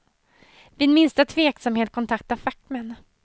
Vid minsta tveksamhet, kontakta fackmän.